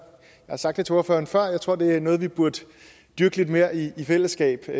har sagt til ordføreren før tror det er noget vi burde dyrke lidt mere i fællesskab og